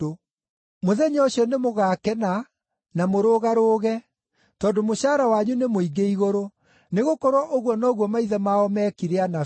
“Mũthenya ũcio nĩmũgakena na mũrũgarũge, tondũ mũcaara wanyu nĩ mũingĩ Igũrũ. Nĩgũkorwo ũguo noguo maithe mao meekire anabii.